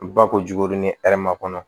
Ba ko jukode ni hɛrɛ ma kɔnɔ